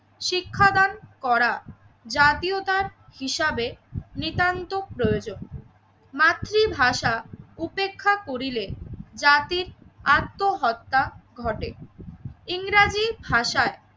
শিক্ষাদান করা জাতীয়তার হিসাবে নিতান্ত প্রয়োজন। মাতৃভাষা উপেক্ষা করিলে জাতির আত্মহত্যা ঘটে। ইংরেজি ভাষায়